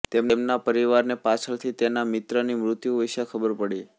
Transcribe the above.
તેમના પરિવારને પાછળથી તેના મિત્રની મૃત્યુ વિષે ખબર પડી